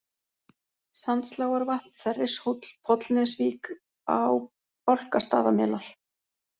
Sandslágarvatn, Þerrishóll, Pollnesvík, Bálkastaðamelar